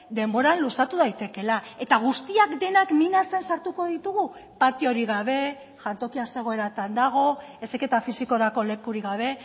denbora luzatu daitekeela eta guztiak denak minasen sartuko ditugu patiorik gabe jantokia ze egoeratan dago heziketa fisikorako lekurik gabe